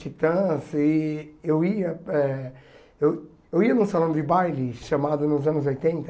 Titãs e eu ia eh eu eu ia num salão de baile chamado, nos anos oitenta,